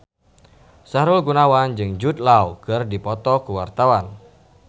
Sahrul Gunawan jeung Jude Law keur dipoto ku wartawan